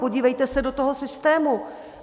Podívejte se do toho systému.